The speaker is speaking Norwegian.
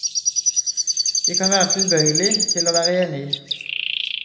Vi kan være tilbøyelig til å være enig.